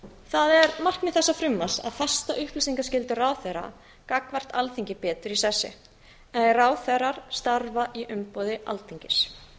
það er markmið þessa frumvarps að festa upplýsingaskyldu ráðherra gagnvart alþingi betur í sessi en ráðherrar starfa í umboði alþingis